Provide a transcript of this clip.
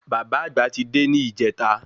Bàbá àgbà ti dé ní ìjẹta